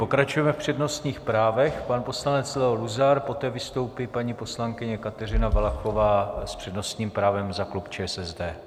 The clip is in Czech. Pokračujeme v přednostních právech - pan poslanec Leo Luzar, poté vystoupí paní poslankyně Kateřina Valachová s přednostním právem za klub ČSSD.